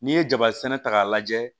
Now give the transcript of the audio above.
N'i ye jaba sɛnɛ ta k'a lajɛ